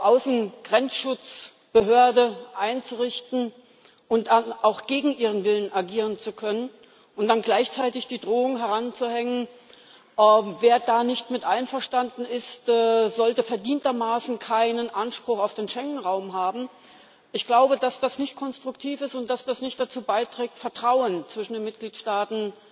Außengrenzschutzbehörde einzurichten und dann auch gegen ihren Willen agieren zu können und dann gleichzeitig die Drohung daran zu hängen, wer damit nicht einverstanden ist, sollte verdientermaßen keinen Anspruch auf den Schengen Raum haben, dann glaube ich, dass das nicht konstruktiv ist und dass das nicht dazu beiträgt, Vertrauen zwischen den Mitgliedstaaten